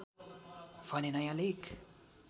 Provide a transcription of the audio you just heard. भने नयाँ लेख